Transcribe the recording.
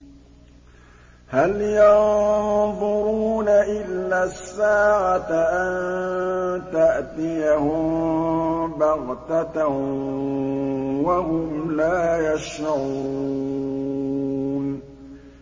هَلْ يَنظُرُونَ إِلَّا السَّاعَةَ أَن تَأْتِيَهُم بَغْتَةً وَهُمْ لَا يَشْعُرُونَ